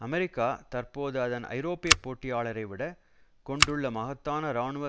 America தற்போது அதன் ஐரோப்பிய போட்டியாளரைவிட கொண்டுள்ள மகத்தான இராணுவ